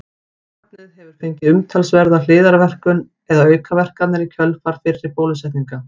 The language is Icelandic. Barnið hefur fengið umtalsverða hliðarverkun eða aukaverkanir í kjölfar fyrri bólusetninga.